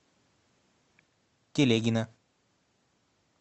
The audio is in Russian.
телегина